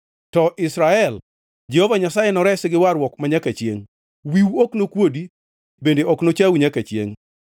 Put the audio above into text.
To Israel Jehova Nyasaye noresi gi warruok manyaka chiengʼ; wiwu ok nokuodi bende ok nochau nyaka chiengʼ.